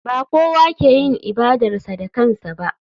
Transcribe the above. Ba kowa ke yin ibadarsa da kansa ba.